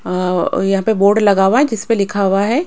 यहां पे बोर्ड लगा हुआ है जिस पे लिखा हुआ है--